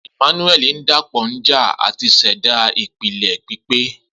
Emmanuel dapọ nja ati ṣẹda ipilẹ pipe.